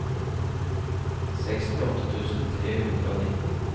sekstiåtte tusen tre hundre og nitten